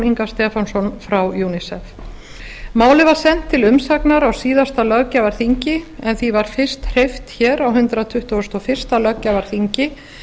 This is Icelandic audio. inga stefánsson frá unicef málið var sent til umsagnar á síðasta löggjafarþingi en því var fyrst hreyft á hundrað tuttugasta og fyrsta löggjafarþingi